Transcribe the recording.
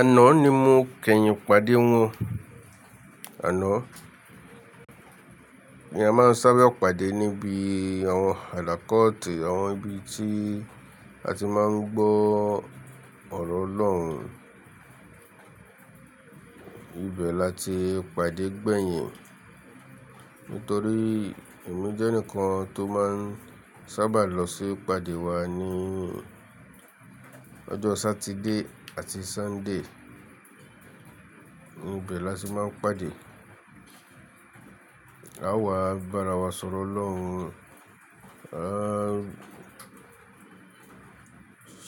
Àná ni mo kẹyìn pàdé wọn, àná. Ni a máa ń sáábẹ̀ pàdé níbi àwọn alakọ̀ọtẹ́, àwọn ibi tí a ti máa ń gbọ́oro ọ̀rọ̀ Ọlọ́run. Ibẹ̀ la ti pàdé gbẹ̀yìn. Nítorí èmi jẹ́ ẹnìkan tó máa ń sábà lọ sí pàdé wa ní ọjọ́ Sátidé àti Sọ́ndé. Nibẹ̀ la ti máa ń pàdé. A wàá bá ara wa sọ̀rọ̀ Ọlọ́run, a